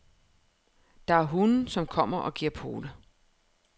Der er hunde, som kommer og giver pote.